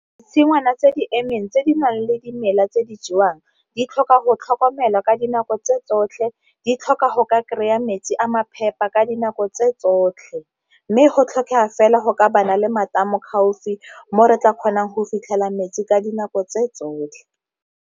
Ditshingwana tse di emeng tse di nang le dimela tse di jewang di tlhoka go tlhokomelwa ka dinako tse tsotlhe di tlhoka go ka kry-a metsi a ma phepa ka dinako tse tsotlhe, mme go tlhokega fela go ka le matamo gaufi mo re tla kgonang go fitlhela metsi ka dinako tse tsotlhe.